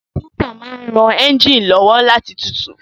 Radiétọ̀ máa n ran éúnjínì lọ́wọ́ láti tutù